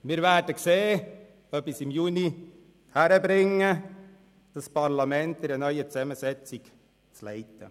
Wir werden sehen, ob ich es im Juni hinkriege, dieses Parlament in einer neuen Zusammensetzung zu leiten.